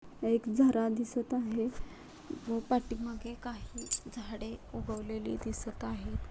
एक झरा दिसत आहे व पाठीमागे काही झाडे उगवलेली दिसत आहेत.